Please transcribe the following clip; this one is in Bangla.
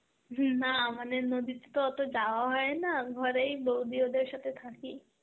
হম না মানে নদীতে তো অত যাওয়া হয় না, ঘরেই বৌদি ওদের সাথে থাকি.